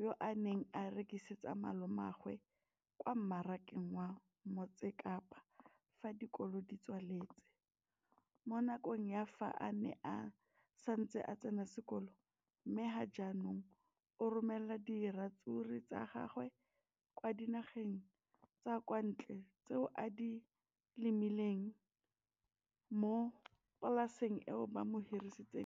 yo a neng a rekisetsa malomagwe kwa Marakeng wa Motsekapa fa dikolo di tswaletse, mo nakong ya fa a ne a santse a tsena sekolo, mme ga jaanong o romela diratsuru tsa gagwe kwa dinageng tsa kwa ntle tseo a di lemileng mo polaseng eo ba mo hiriseditseng yona.